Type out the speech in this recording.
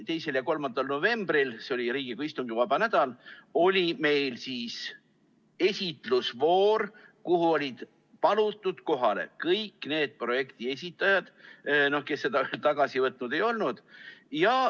2. ja 3. novembril, see oli Riigikogu istungivaba nädal, oli meil esitlusvoor, kuhu olid palutud kohale kõik need projektide esitajad, kes oma projekti tagasi võtnud ei olnud.